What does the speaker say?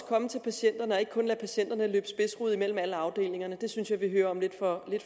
komme til patienterne og ikke kun patienterne løbe spidsrod mellem alle afdelingerne det synes jeg at vi hører om lidt for